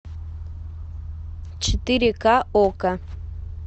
четыре ка окко